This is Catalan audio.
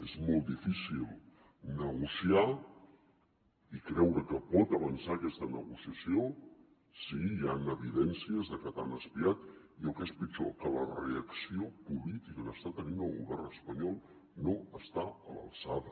és molt difícil negociar i creure que pot avançar aquesta negociació si hi han evidències de que t’han espiat i el que és pitjor que la reacció política que està tenint el govern espanyol no està a l’alçada